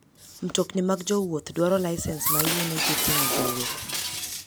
Mtokni mag jowuoth dwaro lisens mayienegi ting'o jowuoth.